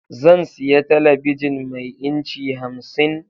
Zan siya talabijin mai inci 50